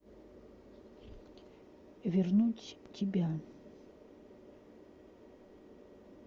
вернуть тебя